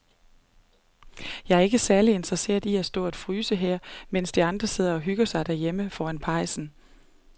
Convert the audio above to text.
Jeg er ikke særlig interesseret i at stå og fryse her, mens de andre sidder og hygger sig derhjemme foran pejsen.